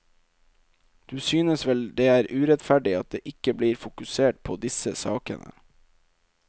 Du synes vel det er urettferdig at det ikke blir fokusert på disse sakene?